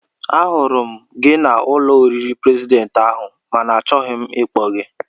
Ahụrụ m gị n'ụlọ oriri prezidentị ahụ mana achọghị m ịkpọku gị